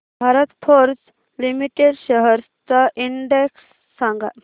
Bharat Forge limited shares चा index सांगा